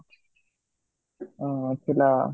ଅଂ ଥିଲା